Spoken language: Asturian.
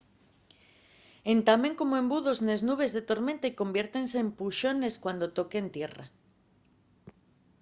entamen como embudos nes nubes de tormenta y conviértense en puxones” cuando toquen tierra